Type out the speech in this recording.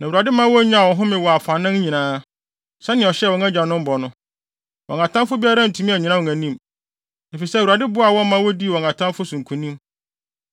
Na Awurade ma wonyaa ɔhome wɔ afanan nyinaa, sɛnea ɔhyɛɛ wɔn agyanom bɔ no. Wɔn atamfo biara antumi annyina wɔn anim, efisɛ Awurade boaa wɔn ma wodii wɔn atamfo so nkonim.